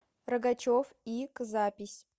рогачев и к запись